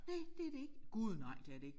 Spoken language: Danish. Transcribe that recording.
Næ det er det ikke gud nej det er det ikke